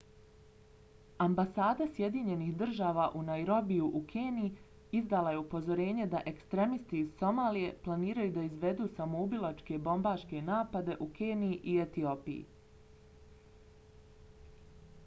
ambasada sjedinjenih država u nairobiju u keniji izdala je upozorenje da ekstremisti iz somalije planiraju da izvedu samoubilačke bombaške napade u keniji i etiopiji